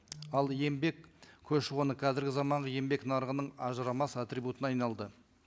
ал еңбек көші қоны қазіргі заманғы еңбек нарығының ажырамас атрибутына айналды